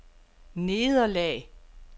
nederlag